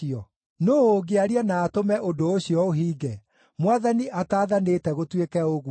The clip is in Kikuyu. Nũũ ũngĩaria na atũme ũndũ ũcio ũhinge, Mwathani ataathanĩte gũtuĩke ũguo?